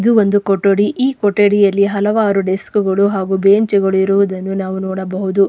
ಇದು ಒಂದು ಕೊಠಡಿ ಈ ಕೊಠಡಿಯಲ್ಲಿ ಹಲವಾರು ಡೆಸ್ಕ್ ಗಳು ಹಾಗೂ ಬೆಂಚ್ ಗಳು ಇರುವುದನ್ನು ನಾವು ನೋಡಬಹುದು.